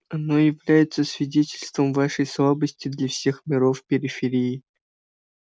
оно является свидетельством вашей слабости для всех миров периферии